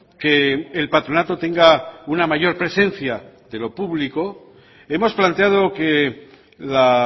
que el patronato tenga una mayor presencia de lo público hemos planteado que la